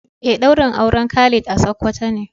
Eh daurin auren Khalid a sokoto ne.